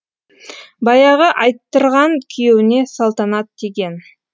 баяғы айттырған күйеуіне салтанат тиген